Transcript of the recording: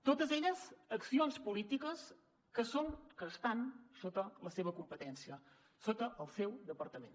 totes elles accions polítiques que estan sota la seva competència sota el seu departament